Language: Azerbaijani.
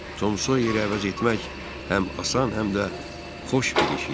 Tom Soyerə əvəz etmək həm asan, həm də xoş bir iş idi.